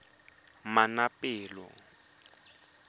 manaanepalo